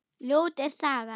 Ljót er sagan.